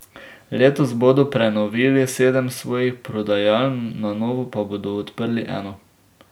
Letos bodo prenovili sedem svojih prodajaln, na novo pa bodo odprli eno.